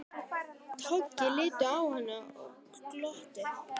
Toggi litu á hann og glottu.